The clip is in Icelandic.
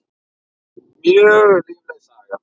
Mjög lífleg saga.